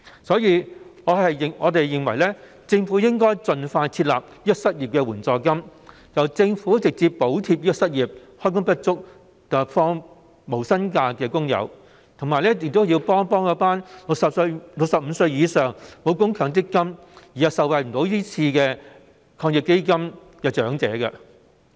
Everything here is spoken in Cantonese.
所以，我們認為，政府應該盡快設立失業援助金，直接補貼失業、開工不足及要放無薪假的工友，以及幫助65歲以上、因沒有強積金供款而不能受惠於防疫抗疫基金的長者。